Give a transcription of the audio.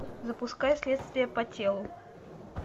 запускай следствие по телу